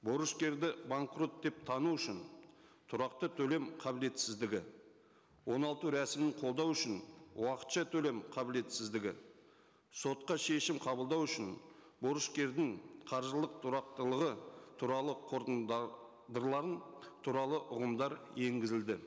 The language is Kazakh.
борышкерді банкрот деп тану үшін тұрақты төлем қабілетсіздігі оңалту рәсімін қолдау үшін уақытша төлем қабілетсіздігі сотқа шешім қабылдау үшін борышкердің қаржылық тұрақтылығы туралы туралы ұғымдар енгізілді